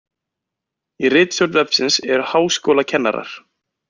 Í ritstjórn vefsins eru háskólakennarar.